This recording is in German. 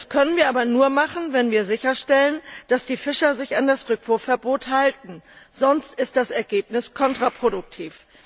Das können wir aber nur machen, wenn wir sicherstellen, dass die Fischer sich an das Rückwurfverbot halten, sonst ist das Ergebnis kontraproduktiv.